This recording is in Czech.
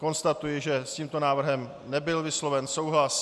Konstatuji, že s tímto návrhem nebyl vysloven souhlas.